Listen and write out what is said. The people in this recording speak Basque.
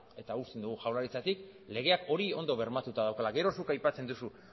eta usten dugu jaurlaritzatik legeak hori ondo bermatuta daukala gero zuk aipatzen duzu